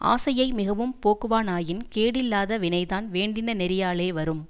ஆசையை மிகவும் போக்குவானாயின் கேடில்லாத வினைதான் வேண்டின நெறியாலே வரும்